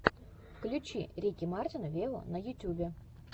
включи рики мартина вево на ютубе